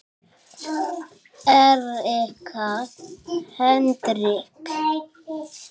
Erika Hendrik